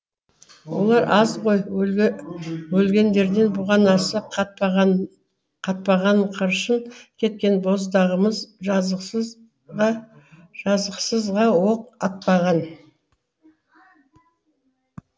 олар аз ғой өлгендерден бұғанасы қатпағанқыршын кеткен боздағымыз жазықсызға оқ атпаған